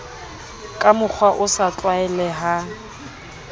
ka mokgwa o sa tlwaelehang